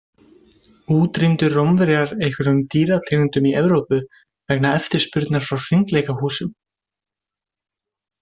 Útrýmdu Rómverjar einhverjum dýrategundum í Evrópu vegna eftirspurnar frá hringleikahúsunum?